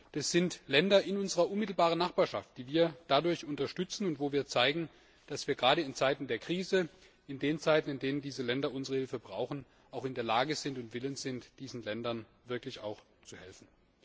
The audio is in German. Das sind Länder in unserer unmittelbaren Nachbarschaft, die wir dadurch unterstützen und wo wir zeigen, dass wir gerade in Zeiten der Krise, in den Zeiten, in denen diese Länder unsere Hilfe brauchen, auch in der Lage und willens sind, diesen Ländern wirklich zu helfen.